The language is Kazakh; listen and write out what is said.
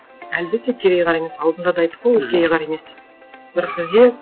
әлбетте кереғар емес алдында да айттық қой ол кереғар емес деп бірақ бізде